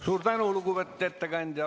Suur tänu, lugupeetud ettekandja!